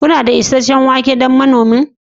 Kuna da isasshen wake don moninmonin?